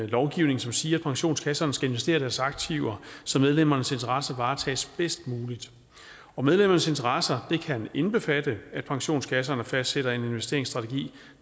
lovgivning som siger at pensionskasserne skal investere deres aktiver så medlemmernes interesser varetages bedst muligt og medlemmernes interesser kan indbefatte at pensionskasserne fastsætter en investeringsstrategi